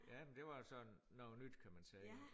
Ja men det var sådan noget nyt kan man sige